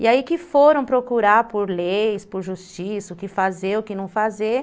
E aí que foram procurar por leis, por justiça, o que fazer, o que não fazer.